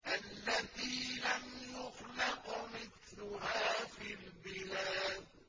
الَّتِي لَمْ يُخْلَقْ مِثْلُهَا فِي الْبِلَادِ